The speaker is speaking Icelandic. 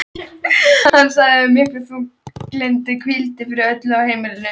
Hann sagði að mikill þungi hvíldi yfir öllu á heimilinu.